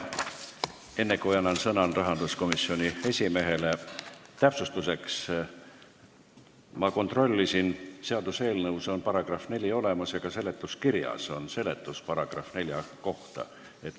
Enne, kui annan sõna rahanduskomisjoni esimehele, ütlen täpsustuseks, et ma kontrollisin ning seaduseelnõus on § 4 olemas ja ka seletuskirjas on § 4 kohta seletus.